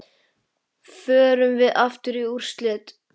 Förum við aftur í úrslit?